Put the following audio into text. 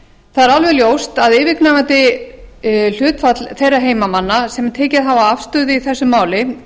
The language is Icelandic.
er alveg ljóst að yfirgnæfandi hluti þeirra heimamanna sem tekið hafa afstöðu í þessu máli